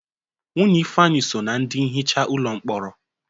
Nwunye Ifeanyị so ná ndị nhicha ụlọ mkpọrọ.